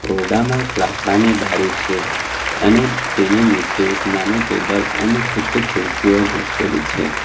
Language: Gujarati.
ઓરડામાં એક લાકડાની બારી છે અને તેની નીચે એક નાનું ટેબલ અને કેટલી ખુરસીઓ ગોઠવેલી છે.